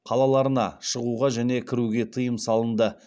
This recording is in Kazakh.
қалаларына шығуға және кіруге тыйым салынды